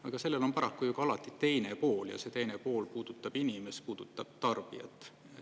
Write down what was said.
Aga sellel on paraku ju ka alati teine pool ja see teine pool puudutab inimest, puudutab tarbijat.